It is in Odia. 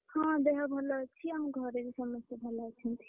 ହଁ ଦେହ ଭଲ ଅଛି, ଆଉ ଆମ ଘରେ ସମସ୍ତେବି ଭଲ ଅଛନ୍ତି।